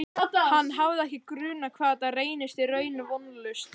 Hann hafði ekki grunað hvað þetta reynist í raun vonlaust.